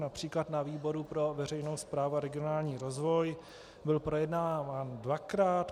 Například na výboru pro veřejnou správu a regionální rozvoj byl projednáván dvakrát.